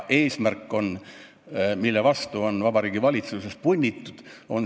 Selle vastu on Vabariigi Valitsuses punnitud.